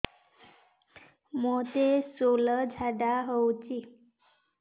ମୋତେ ଶୂଳା ଝାଡ଼ା ହଉଚି